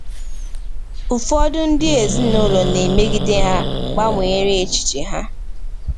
Ụfọdụ ndị ezinụlọ na-emegide ha gbanwere echiche ha.